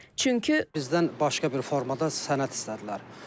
Çünki bizdən başqa bir formada sənəd istədilər.